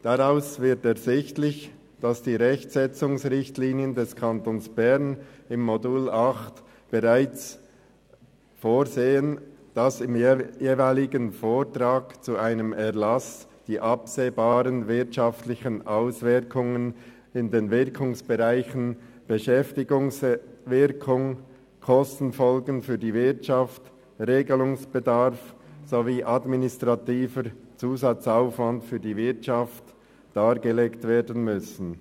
Daraus wird ersichtlich, dass die Rechtsetzungsrichtlinien des Kantons Bern im Modul 8 bereits vorsehen, dass im jeweiligen Vortrag zu einem Erlass die absehbaren wirtschaftlichen Auswirkungen in den Wirkungsbereichen Beschäftigungswirkung, Kostenfolgen für die Wirtschaft, Regelungsbedarf sowie administrativer Zusatzaufwand für die Wirtschaft dargelegt werden müssen.